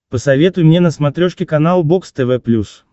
посоветуй мне на смотрешке канал бокс тв плюс